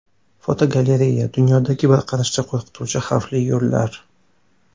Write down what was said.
Fotogalereya: Dunyodagi bir qarashda qo‘rqituvchi xavfli yo‘llar.